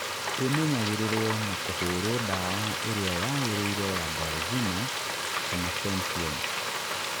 Īmenyagĩrĩrwo na kĩhuhĩrwo ndawa ĩrĩa yagĩrĩire ya Diazinon kana Fenthion